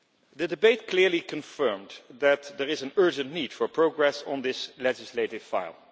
The debate clearly confirmed that there is an urgent need for progress on this legislative file.